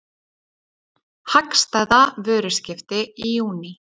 Hagstæða vöruskipti í júní